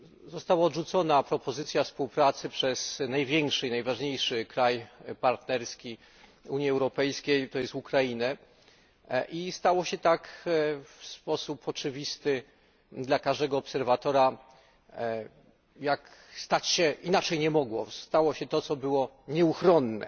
Została odrzucona propozycja współpracy przez największy i najważniejszy kraj partnerski Unii Europejskiej, to jest Ukrainę, i stało się tak w sposób oczywisty dla każdego obserwatora jak stać się musiało, stało się to, co było nieuchronne.